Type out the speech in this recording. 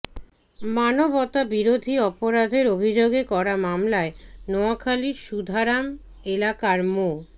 মানবতাবিরোধী অপরাধের অভিযোগে করা মামলায় নোয়াখালীর সুধারাম এলাকার মো